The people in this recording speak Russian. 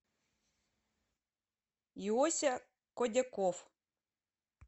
иося кодяков